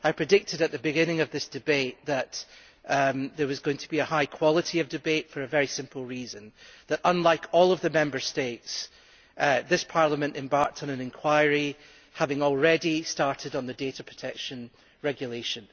I predicted at the beginning of this debate that there was going to be a high quality of debate, for a very simple reason unlike all the Member States, this Parliament embarked on an inquiry having already started on the data protection regulation.